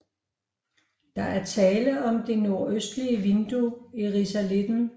Der er tale om det nordøstlige vindue i risalitten